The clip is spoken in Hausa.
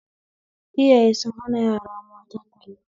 Iyaye sun hana yara mata talla